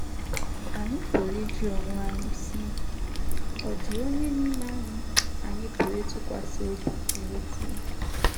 Anyị pụrụ ịjụ onwe anyị si, Ọ̀ dị onye n'ime anyị, anyị pụrụ ịtụkwasị obi n’ezie?